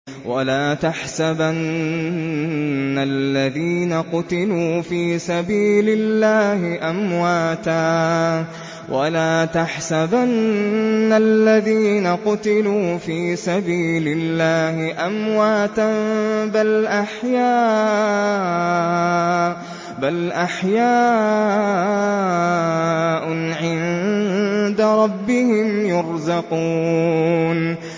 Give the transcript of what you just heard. وَلَا تَحْسَبَنَّ الَّذِينَ قُتِلُوا فِي سَبِيلِ اللَّهِ أَمْوَاتًا ۚ بَلْ أَحْيَاءٌ عِندَ رَبِّهِمْ يُرْزَقُونَ